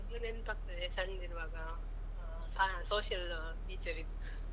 ಈಗ್ಲೂ ನೆನ್ಪಾಗ್ತದೆ ಸಣ್ದಿರುವಾಗ ಆ ಸ social teacher.